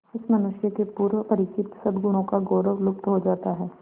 इस मनुष्य के पूर्व परिचित सदगुणों का गौरव लुप्त हो जाता है